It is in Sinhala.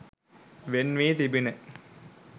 වෙන් වී තිබිණ.